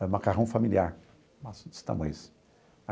É o macarrão familiar, maço desse tamanho assim.